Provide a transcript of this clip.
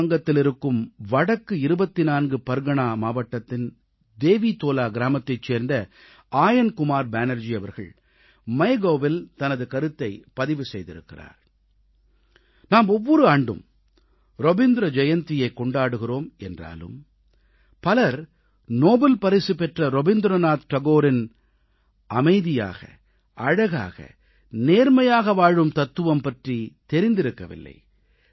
மேற்கு வங்கத்திலிருக்கும் வடக்கு 24 பர்கனா மாவட்டத்தின் தேவீதோலா கிராமத்தைச் சேர்ந்த ஆயன் குமார் பேனர்ஜி அவர்கள் MyGovஇல் தனது கருத்தைப் பதிவு செய்திருக்கிறார் நாம் ஒவ்வொரு ஆண்டும் ரவீந்திர ஜெயந்தியைக் கொண்டாடுகிறோம் என்றாலும் பலர் நோபல் பரிசு வென்ற ரவீந்திரநாத் தாகூரின் அமைதியாக அழகாக நேர்மையாக வாழும் தத்துவம் பற்றித் தெரிந்திருக்கவில்லை